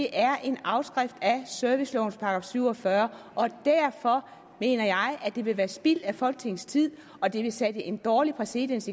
er en afskrift af servicelovens § syv og fyrre og derfor mener jeg at det vil være spild af folketingets tid og at det vil skabe en dårlig præcedens